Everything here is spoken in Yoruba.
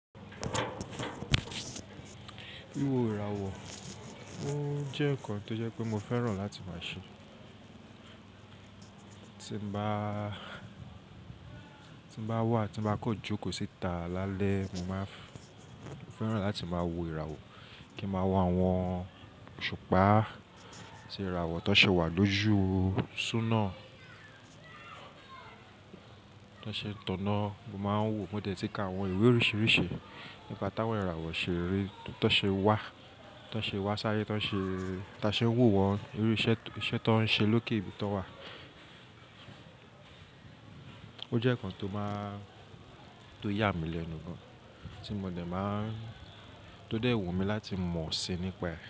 Wíwo ìràwọ̀, ó jẹ́ nǹkan tó jẹ́ pé mo fẹ́ràn láti máa ṣe. Tí mo bá wà, tí mo bá kan jókòó síta lálẹ́, mo máa fẹ́ràn láti máa wo ìràwọ̀, kí ń máa wo àwọn òṣùpá àtí ìràwọ̀ tó ṣe wà lójú súná, tó ṣe tànná. Mo máa ń wò mọ́ dé tí kí àwọn ìwé oríṣiríṣi nípa táwọn ìràwọ̀ ṣe rí, tán ṣe wà, tán ṣe wá sáyé, tán ṣe, tí a ṣe ń wò wọ́n, irú iṣẹ́ tán ń ṣe lókè ibi tó wà. Ó jẹ́ nǹkan tó máa, tó yà mí lẹ́nu gan, tí mo dẹ̀ máa, tó dẹ̀ wù mí láti mọ̀ síi nípa ẹ́.